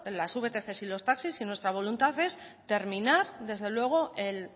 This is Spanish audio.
las vtc y los taxis y nuestra voluntad es terminar desde luego el